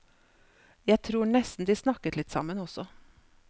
Jeg tror nesten de snakket litt sammen også.